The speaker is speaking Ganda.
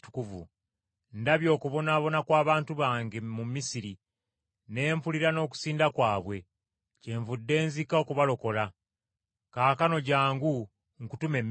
Ndabye okubonaabona kw’abantu bange mu Misiri, ne mpulira n’okusinda kwabwe. Kyenvudde nzika okubalokola. Kaakano jjangu, nkutume e Misiri.’